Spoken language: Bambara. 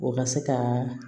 O ka se ka